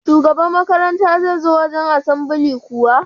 Shugaba makaranta zai zo wajan asambili kuwa?